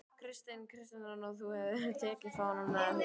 Kristján Kristjánsson: Og þú hefur tekið fánann með þér?